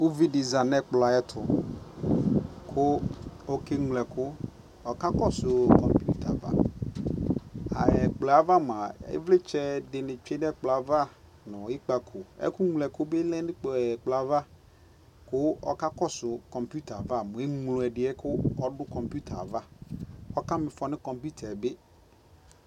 ʋvi di zanʋɛkplɔ ayɛtʋ kʋ ɔkɛ mlɔ ɛkʋ, ɔkakɔsʋ kɔmpʋta aɣa, ɛkplɔɛ aɣa mʋa ivlitsɛ dini twɛ nʋɛkplɔɛ aɣa nʋ ikpakɔ, ɛkʋ mlɔ ɛkʋ bi lɛnʋ ɛkplɔɛ aɣa kʋ ɔkakɔsʋ kɔmpʋta aɣa kʋ ɛmlɔ ɛdiɛ kʋ ɔdʋ kɔmpʋta aɣa, ɔka miƒɔ nʋ kɔmpʋta bi